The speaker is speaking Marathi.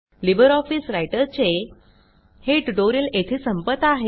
लिबर ऑफिस रायटर चे हे ट्यूटोरियल येथे संपत आहे